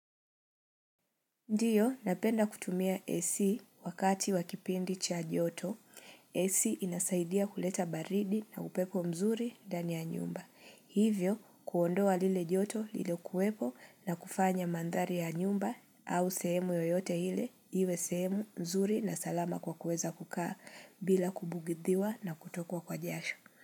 Ndiyo, napenda kutumia AC wakati wakipindi cha joto, AC inasaidia kuleta baridi na upepo mzuri ndani ya nyumba. Hivyo, kuondoa lile joto liliokuwepo na kufanya mandhari ya nyumba au sehemu yoyote ile, iwe sehemu mzuri na salama kwa kuweza kukaa bila kubugidhiwa na kutokwa kwa jasho.